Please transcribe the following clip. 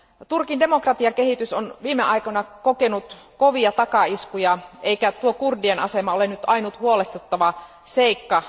Turkin demokratiakehitys on viime aikoina kokenut kovia takaiskuja, eikä kurdien asema ole ainut huolestuttava seikka.